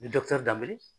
Ni dɔkitɛri daminɛ